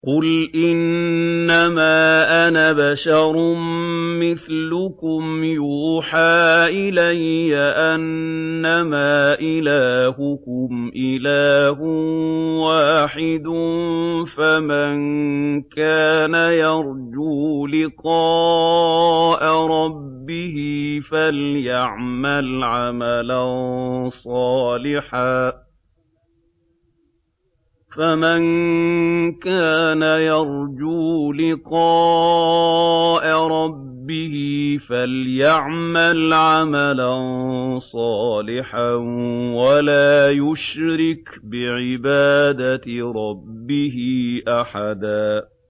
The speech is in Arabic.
قُلْ إِنَّمَا أَنَا بَشَرٌ مِّثْلُكُمْ يُوحَىٰ إِلَيَّ أَنَّمَا إِلَٰهُكُمْ إِلَٰهٌ وَاحِدٌ ۖ فَمَن كَانَ يَرْجُو لِقَاءَ رَبِّهِ فَلْيَعْمَلْ عَمَلًا صَالِحًا وَلَا يُشْرِكْ بِعِبَادَةِ رَبِّهِ أَحَدًا